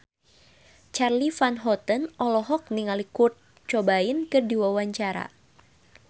Charly Van Houten olohok ningali Kurt Cobain keur diwawancara